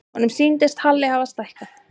Honum sýndist Halli hafa stækkað.